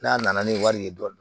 N'a nana ni wari ye dɔɔni